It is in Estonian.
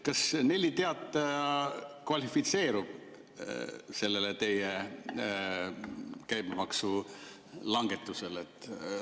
Kas Nelli Teataja kvalifitseerub teie käibemaksulangetuse saajaks?